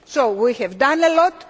So we have done a lot.